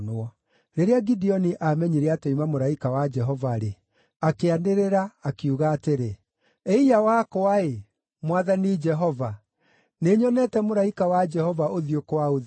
Rĩrĩa Gideoni aamenyire atĩ oima mũraika wa Jehova-rĩ, akĩanĩrĩra, akiuga atĩrĩ, “Ĩiya wakwa-ĩ! Mwathani Jehova! Nĩnyonete mũraika wa Jehova ũthiũ kwa ũthiũ!”